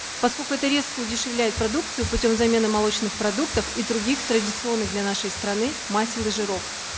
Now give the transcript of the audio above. поскольку это резко удешевляет продукцию путем замены молочных продуктов и других традиционных для нашей страны масел и жиров